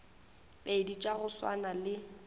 pedi tša go swana le